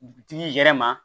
Butigi yɛrɛ ma